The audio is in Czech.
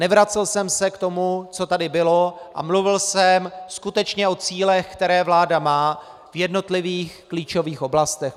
Nevracel jsem se k tomu, co tady bylo, a mluvil jsem skutečně o cílech, které vláda má v jednotlivých klíčových oblastech.